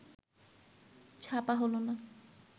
ছাপা হলো না